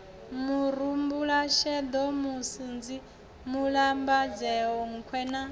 murumbulasheḓo musunzi mulambadzea nkhwe na